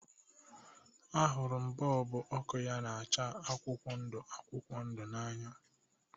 Ahụrụ m bọlbụ ọkụ ya na-acha akwụkwọ ndu akwụkwọ ndu n'anya